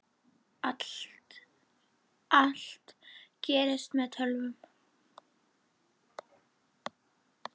Allt gerist með töfrum.